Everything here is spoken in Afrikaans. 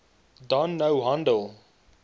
dan nou handel